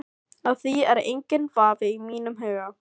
Á því er enginn vafi í mínum huga.